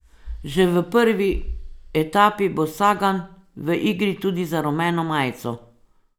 Že v prvi etapi bo Sagan v igri tudi za rumeno majico.